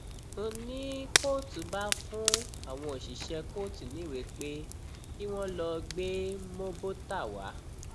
n ní kóòtù bá fún àwọn òṣìṣẹ kóòtù níwèé pé kí wọn lọọ gbé móbótà wá